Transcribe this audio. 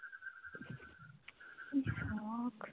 কি শখ